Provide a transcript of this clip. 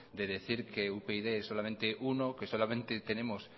de decir que upyd es solamente es uno que solamente tenemos